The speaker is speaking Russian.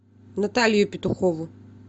наталию петухову